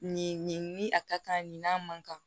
Nin ni a ka kan nin n'a man kan